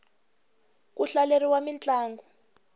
ku hlaleriwa mintlangu